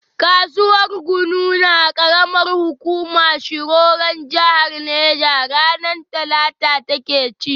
Kasuwar gunu na karamar hukumar shiroron jahar neja, ranar talata ta ke ci.